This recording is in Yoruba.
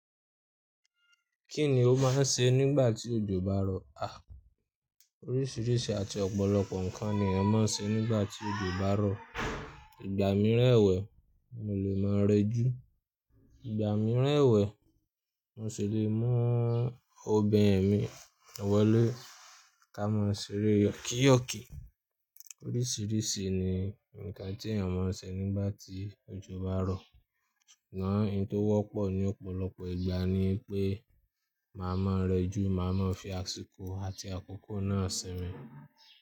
Kí ni o máa ń ṣe nígbà tí òjò bá rọ̀? À, oríṣìíríṣìí àti ọ̀pọ̀lọpọ̀ nǹkan ni a máa ń ṣe nígbà tí òjò bá rọ̀. Ìgbà mí ẹ́wẹ̀ẹ́ mo lè máa rẹ́jú. Ìgbà mí rẹ́wẹ̀ẹ́ mo ṣi lè mú ọbin mi wọlé ká máa ṣeré yokiyoki. Oríṣiríṣi ni ǹkan tí èèyàn ma ṣe nígbàtí òjò báa rọ̀. Ṣùgbọ́n ohun tó wọ́pọ̀ ní ọ̀pọ̀lọpọ̀ ìgbà ni pé màá ma rẹ́jú, màá ma fi aṣiko àti àkókò náà simin.